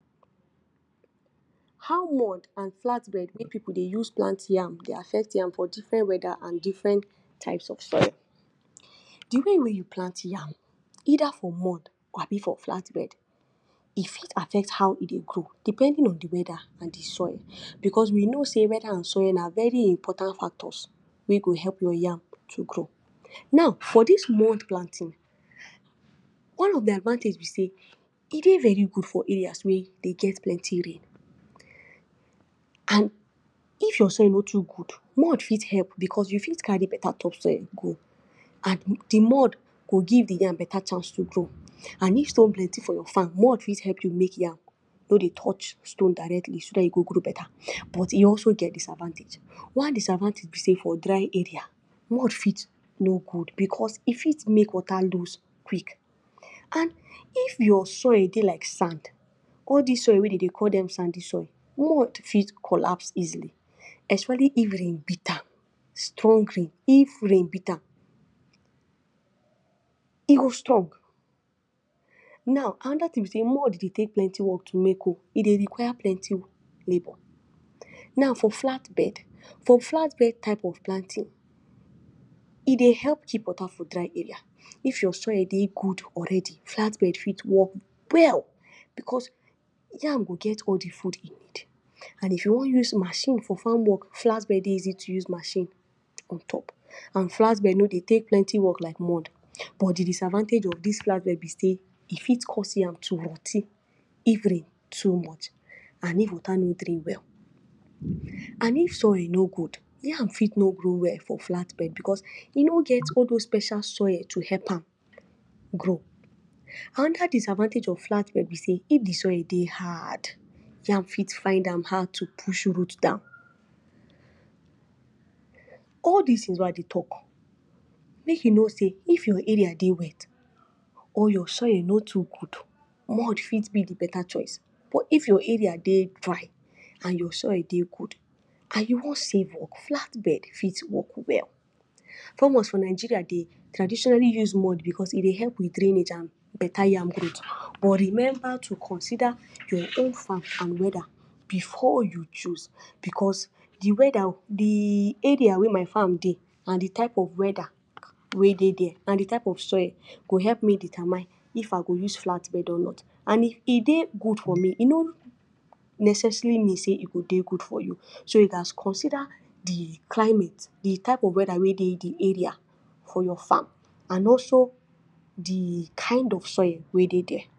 How mud and flatbed wey pipu dey use plant yam dey affect yam for different weather and different types of soil, the way wey you plant yam either for mud abi for flatbed e fit affect how e dey grow depending on the weather and the soil. Because we know sey weather and soil na very important factors wey go help your yam to grow now for this mud planting one of the advantage be sey e dey very good for area wey e be sey de get plenty rain and if your soil no too good mud fit help because you fit carry better topsoil go and the mud go give the yam better chance to grow and if stone plenty for your farm mud fit help you make yam no dey touch stone directly so that e go grow better but e also get disadvantage one disadvantage be sey for dry area mud fit no good because e fit make water loose quick. And if your soil de like sand all this soil wey dem dey call dem sandy soil mud fit collapse easily especially if rain beat am strong rain if rain beat amm e go strong. Now another thing be sey mud dey take plenty work to make ooh e dey require plenty labor now for flat bed for flatbed type of planting e dey help keep water for dry area if your soil dey good already flat bed fit work well because yam go get all the food e need and if you wan use machine for farm work flatbed dey easy to use machine on top and flatbed no dey take plenty work like mud but the disadvantage of this flatbed be sey e fit cause yam to rot ten if rain too much and if water no dey well and if soil no good yam fit no grow well for flatbed because e no get all those special soil to help am grow. Another disadvantage of flatbed be sey if the soil dey hard yam fit find am hard to push root down. all this things wey I dey talk make you know sey if your area dey wet or your soil no too good mud fit be the better choice but if your area dey dry and your soil dey good and you wan save work flatbed fit work well farmers for Nigeria dey traditionally use mud because e dey help with drainage and better yam growth but remember to consider your own farm and weather before you choose because the weather the area wey my farm dey and the type of weather wey dey there and the type of soil go help me determine if I go use flatbed or not and e dey good for me e no necessarily mean sey e dey good for you so you gets consider the climate the type of weather wey dey for your area for your far and also the kin of soil wey dey there.